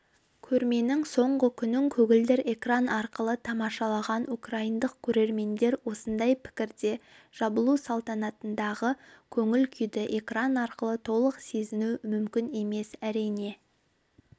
көрменің соңғы күнін көгілдір экран арқылы тамашалаған украиндық көрермендер осындай пікірде жабылу салтанатындағы көңіл-күйді экран арқылы толық сезіну мүмкін емес әрине